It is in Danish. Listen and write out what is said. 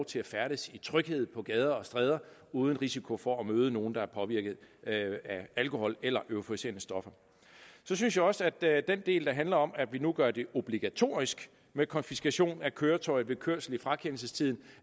til at færdes i tryghed på gader og stræder uden risiko for at møde nogen der er påvirket af alkohol eller euforiserende stoffer så synes jeg også at den del der handler om at vi nu gør det obligatorisk med konfiskation af køretøjet ved kørsel i frakendelsestiden